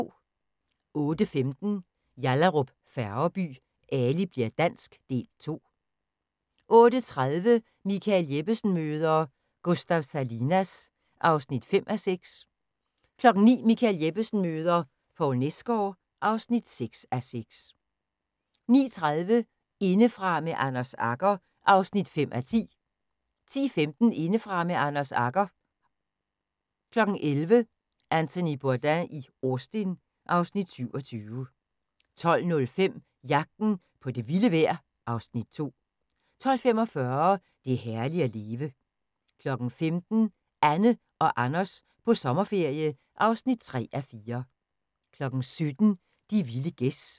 08:15: Yallahrup Færgeby: Ali bli'r dansk – Del 2 08:30: Michael Jeppesen møder ... Gustav Salinas (5:6) 09:00: Michael Jeppesen møder... Poul Nesgaard (6:6) 09:30: Indefra med Anders Agger (5:10) 10:15: Indefra med Anders Agger 11:00: Anthony Bourdain i Austin (Afs. 27) 12:05: Jagten på det vilde vejr (Afs. 2) 12:45: Det er herligt at leve 15:00: Anne og Anders på sommerferie (3:4) 17:00: De vilde gæs